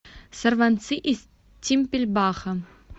сорванцы из тимпельбаха